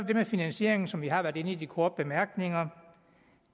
det med finansieringen som vi har været inde på i de korte bemærkninger